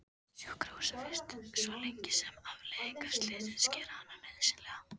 Sjúkrahúsvist svo lengi sem afleiðingar slyssins gera hana nauðsynlega.